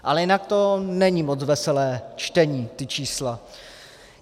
Ale jinak to není moc veselé čtení, ta čísla.